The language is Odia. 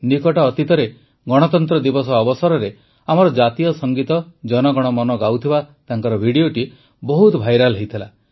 ନିକଟ ଅତୀତରେ ଗଣତନ୍ତ୍ର ଦିବସ ଅବସରରେ ଆମର ଜାତୀୟ ସଙ୍ଗୀତ ଜନ ଗଣ ମନ ଗାଉଥିବା ତାଙ୍କର ଭିଡ଼ିଓଟି ବହୁତ ଭାଇରାଲ ହୋଇଥିଲା